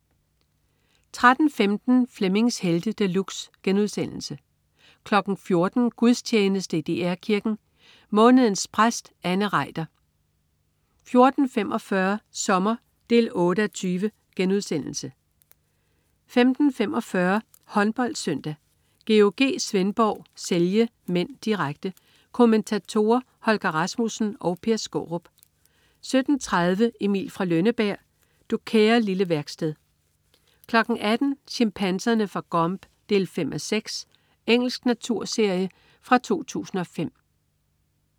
13.15 Flemmings Helte De Luxe* 14.00 Gudstjeneste i DR Kirken. Månedens præst, Anne Reiter 14.45 Sommer 8:20* 15.45 HåndboldSøndag: GOG Svendborg-Celje (m), direkte. Kommentatorer: Holger Rasmussen og Per Skaarup 17.30 Emil fra Lønneberg. Du kære lille værksted 18.00 Chimpanserne fra Gombe 5:6. Engelsk naturserie fra 2005